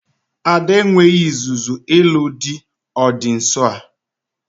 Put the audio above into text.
Ada e nweghị izuzu ịlụ di ọ dị nsọ a